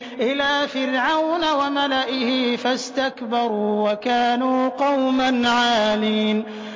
إِلَىٰ فِرْعَوْنَ وَمَلَئِهِ فَاسْتَكْبَرُوا وَكَانُوا قَوْمًا عَالِينَ